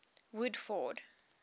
woodford